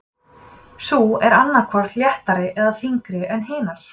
sú er annað hvort léttari eða þyngri en hinar